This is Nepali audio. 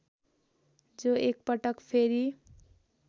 जो एकपटक फेरी